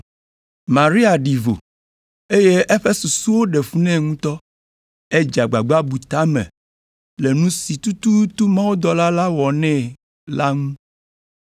Maria ɖi vo, eye eƒe susu ɖe fu nɛ ŋutɔ. Edze agbagba bu ta me le nu si tututu mawudɔla la wɔnɛ la ŋu.